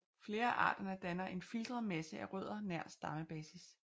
Flere af arterne danner en filtret masse af rødder nær stammebasis